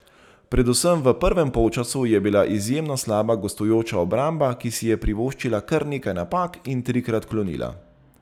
Predvsem v prvem polčasu je bila izjemno slaba gostujoča obramba, ki si je privoščila kar nekaj napak in trikrat klonila.